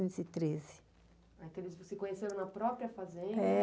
e treze. Ah, então, eles se conheceram na própria fazenda? É.